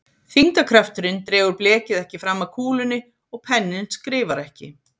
Þyngdarkrafturinn dregur blekið ekki fram að kúlunni og penninn skrifar ekki.